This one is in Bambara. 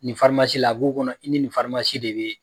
Nin la a bi k'u kɔnɔ k' i ni de be yen